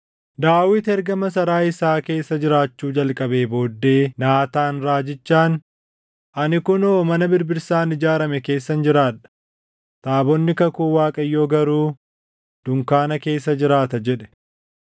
Daawit erga masaraa isaa keessa jiraachuu jalqabee booddee Naataan raajichaan, “Ani kunoo mana birbirsaan ijaarame keessan jiraadha; taabonni kakuu Waaqayyoo garuu dunkaana keessa jiraata” jedhe.